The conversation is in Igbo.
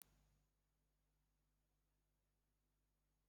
Ee, ana m akwọ ụgbọ ala nna m